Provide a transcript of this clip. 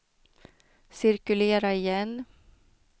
cirkulera igen